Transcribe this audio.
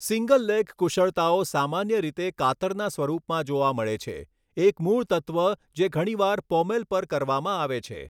Single leg કુશળતાઓ સામાન્ય રીતે કાતરના સ્વરૂપમાં જોવા મળે છે, એક મૂળ તત્વ જે ઘણીવાર પોમેલ પર કરવામાં આવે છે.